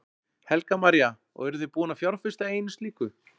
Helga María: Og eruð þið búin að fjárfesta í einu slíku?